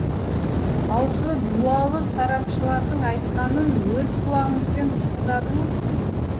аузы дуалы сарапшылардың айтқанын өз құлағыңызбен тыңдадыңыз